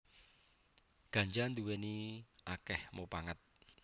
Ganja nduwèni akèh mupangat